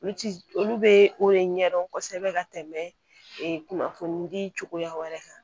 Olu ti olu be o de ɲɛdɔn kosɛbɛ ka tɛmɛ ee kunnafoni di cogoya wɛrɛ kan